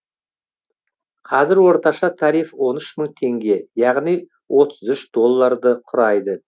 қазір орташа тариф он үш мың теңге яғни отыз үш долларды құрайды